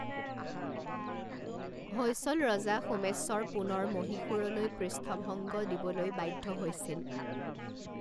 হৈশল ৰজা সোমেশ্বৰ পুনৰ মহীশুৰলৈ পৃষ্ঠভংগ দিবলৈ বাধ্য হৈছিল।